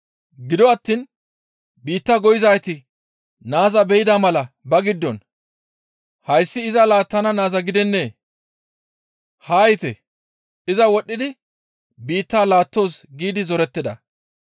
«Gido attiin biitta goyizayti naaza be7ida mala ba giddon, ‹Hayssi iza laattana naaza gidennee? Haa yiite; iza wodhidi biittaa laattoos› giidi zorettida.